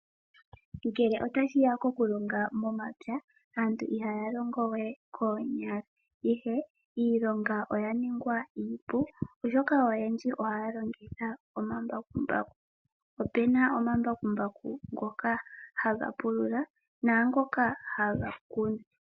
Ngele ota shiya okulonga momapya aantu ihaya longo we koonyala ihe iilonga oya ningwa iipu, oshoka oyendji ohaya longitha omambakumbaku. Ope na omambakumbaku ngoka haga pulula naangoka haga kunu.